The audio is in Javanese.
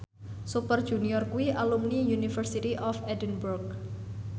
Super Junior kuwi alumni University of Edinburgh